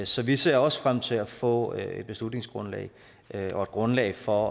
så vi ser også frem til at få et beslutningsgrundlag og et grundlag for